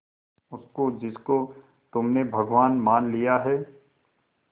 उसको जिसको तुमने भगवान मान लिया है